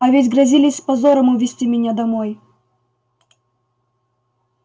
а ведь грозились с позором увезти меня домой